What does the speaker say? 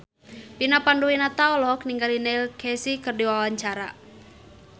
Vina Panduwinata olohok ningali Neil Casey keur diwawancara